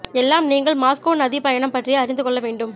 எல்லாம் நீங்கள் மாஸ்கோ நதி பயணம் பற்றிய அறிந்து கொள்ள வேண்டும்